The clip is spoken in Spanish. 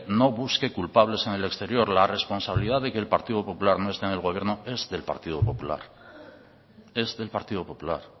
no busque culpables en el exterior la responsabilidad de que el partido popular no esté en el gobierno es del partido popular es del partido popular